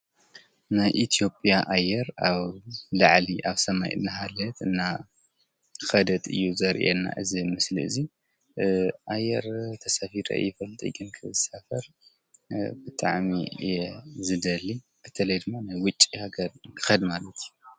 ናይ ኢትዮጵያ ኣየር አብ ላዕሊ አብ ሰማይ እናሃለወት እናከደት እዪ ዘርእየና እዚ ምስሊ እዚ አየር ተሳፊረ አይፈልጥይ ግን ክሳፈር ብጣዕሚ እየ ዝደሊ በተለይ ንዉጪ ሃገር ክከድ ማለት እዪ ።